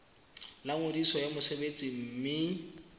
la ngodiso ya mosebetsi mme